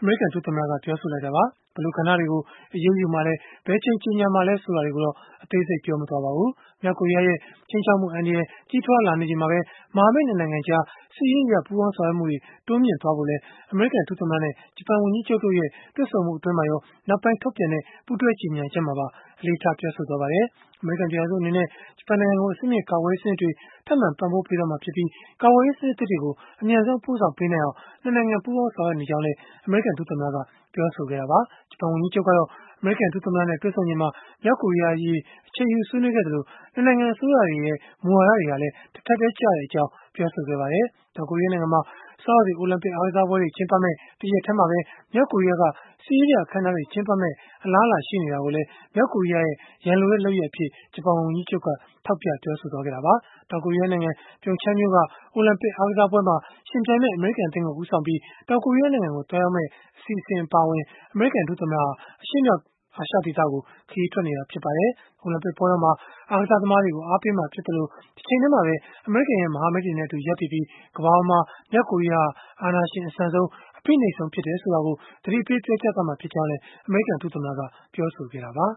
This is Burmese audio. အမေရိကန် ဒုသမ္မတက ပြောဆိုလိုက်တာပါ။ ဘယ်လိုကဏ္ဍတွေကို အရေးယူမှာလဲ၊ ဘယ်အချိန် ကြေညာမှာလဲ ဆိုတာတွေကိုတော့ အသေးစိတ် ပြောမသွားခဲ့ပါဘူး။ မြောက်ကိုရီးယားရဲ့ ခြိမ်းခြောက်မှုအန္တရာယ် ကြီးထွားလာနေချိန်မှာပဲ မဟာမိတ် ၂ နိုင်ငံကြား စစ်ရေးအရ ပူးပေါင်းဆောင်ရွက်မှုတွေ တိုးမြှင့်ဖို့လည်း အမေရိကန် ဒုသမ္မတနဲ့ ဂျပန်ဝန်ကြီးချုပ်တို့ရဲ့ တွေ့ဆုံမှု အတွင်းမှာရော၊ နောက်ပိုင်း ထုတ်ပြန်ခဲ့တဲ့ ပူးတွဲကြေညာချက်မှာပါ အလေးထား ပြောဆိုခဲ့ကြပါတယ်။ အမေရိကန် ပြည်ထောင်စု အနေနဲ့ ဂျပန်နိုင်ငံကို အဆင့်မြင့် ကာကွယ်ရေးစနစ်တွေ ထပ်မံပံ့ပိုးပေးသွားမှာဖြစ်ပြီး၊ ကာကွယ်ရေးစနစ်သစ်တွေကို အမြန်ဆုံးပို့ဆောင်ပေးနိုင်အောင် ၂ နိုင်ငံ ပူးပေါင်း ဆောင်ရွက် နေကြောင်းလည်း အမေရိကန် ဒုသမ္မတက ပြောဆိုခဲ့တာပါ။ ဂျပန်ဝန်ကြီးချုပ်ကတော့ အမေရိကန် ဒုသမ္မတနဲ့ တွေ့ဆုံချိန်မှာ မြောက်ကိုရီးယားအရေး အချိန်ယူဆွေးနွေးခဲ့သလို၊ ၂ နိုင်ငံ အစိုးရတွေရဲ့ မူဝါဒတွေဟာလည်း တထပ်တည်းကျကြောင်း ပြောဆိုခဲ့ပါတယ်။ တောင်ကိုရီးယားနိုင်ငံမှာ ဆောင်းရာသီ အိုလံပစ်အားကစားပွဲတွေ ကျင်းပမယ့် တရက်တည်းမှာပဲ မြောက်ကိုရီးယားက စစ်ရေးပြအခန်းအနားတွေ ကျင်းပမယ့် အလားအလာရှိနေတာကိုလည်း မြောက်ကိုရီးယားရဲ့ ရန်လိုတဲ့လုပ်ရပ်အဖြစ် ဂျပန်ဝန်ကြီးချုပ်က ထောက်ပြပြောဆိုခဲ့တာပါ။ တောင်ကိုရီးယားနိုင်ငံ Pyeongchang မြို့က အိုလံပစ် အားကစားပွဲမှာ ယှဉ်ပြိုင်မယ့် အမေရိကန် အသင်းကို ဦးဆောင်ပြီး တောင်ကိုရီးယားနိုင်ငံ သွားရောက်မယ့် အစီအစဉ်အပါအဝင် အမေရိကန် ဒုသမ္မတဟာ အရှေ့မြောက် အာရှဒေသကို ခရီးထွက်နေတာ ဖြစ်ပါတယ်။ အိုလံပစ်ပွဲတော်မှာ အားကစားသမားတွေကို အားပေးမှာ ဖြစ်သလို၊ တချိန်တည်းမှာပဲ အမေရိကန်ရဲ့ မဟာမိတ်တွေနဲ့အတူ ရပ်တည်ပြီး၊ ကမ္ဘာပေါ်မှာ မြောက်ကိုရီးယားဟာ အာဏာရှင်အဆန်ဆုံး၊ အဖိနှိပ်ဆုံး ဖြစ်တယ်ဆိုတာကို သတိပေးသွားမှာ ဖြစ်ကြောင်းလည်း အမေရိကန် ဒုသမ္မတက ပြောဆိုခဲ့တာပါ။